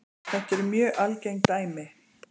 Þetta eru mjög algeng dæmi.